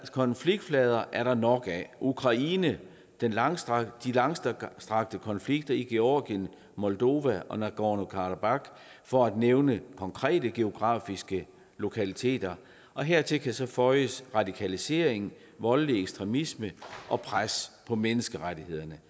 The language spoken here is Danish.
konfliktflader er der nok af ukraine de langstrakte langstrakte konflikter i georgien moldova og nagorno karabach for at nævne konkrete geografiske lokaliteter hertil kan så føjes radikalisering voldelig ekstremisme og pres på menneskerettighederne